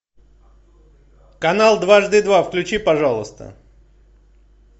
канал дважды два включи пожалуйста